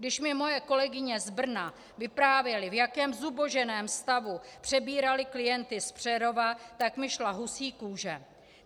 Když mi moje kolegyně z Brna vyprávěly, v jakém zuboženém stavu přebíraly klienty z Přerova, tak mi šla husí kůže.